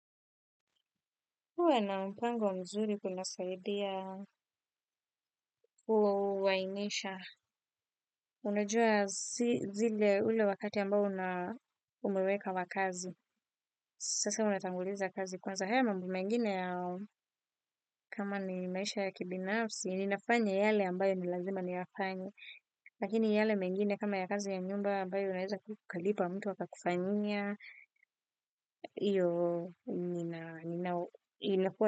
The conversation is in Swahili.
Uwe na mpango mzuri kuna saidiya uwa uwa imesha. Unajua zile ule wakati ambao unaumeweka wa kazi. Sasa unatanguliza kazi kwanza haya mambo mengine yao. Kama ni maisha ya kibinafsi, ininafanya yale ambayo nilazima niyefanye. Lakini yale mengine kama ya kazi ya nyumba ambayo unaweza kukalipa mtu waka kufanyia. Iyo ninafanya.